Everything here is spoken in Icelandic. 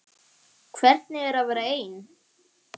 Hvernig er að vera ein?